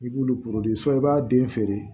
I b'olu i b'a den feere